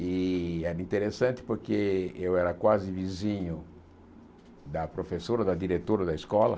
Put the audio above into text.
E era interessante porque eu era quase vizinho da professora, da diretora da escola.